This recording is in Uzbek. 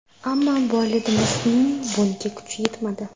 Ammo bolidimizning bunga kuchi yetmadi.